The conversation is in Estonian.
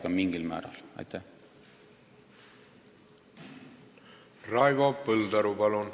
Raivo Põldaru, palun!